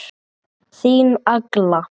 Þín Agla.